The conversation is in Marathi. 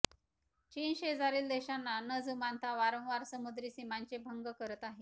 चीन शेजारील देशांना न जुमानता वारंवार सामुद्री सीमांचे भंग करत आहे